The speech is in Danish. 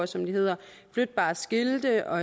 som de hedder flytbare skilte og